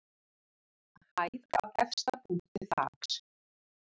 Hæð að efsta punkti þaks.